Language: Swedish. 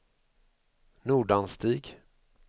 Nordanstig